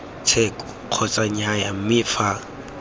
tsheko kgotsa nnyaya mme fa